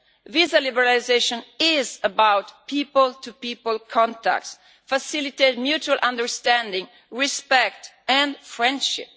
Visa liberalisation is about people to people contacts, facilitating mutual understanding, respect and friendship.